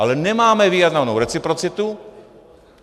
Ale nemáme vyjednanou reciprocitu.